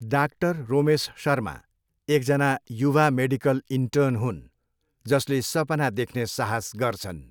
डा रोमेस शर्मा एकजना युवा मेडिकल इन्टर्न हुन् जसले सपना देख्ने साहस गर्छन्।